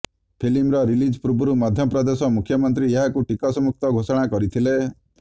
ଫିଲ୍ମର ରିଲିଜ୍ ପୂର୍ବରୁ ମଧ୍ୟପ୍ରଦେଶର ମୁଖ୍ୟମନ୍ତ୍ରୀ ଏହାକୁ ଟିକସ ମୁକ୍ତ ଘୋଷଣା କରିଥିଲେ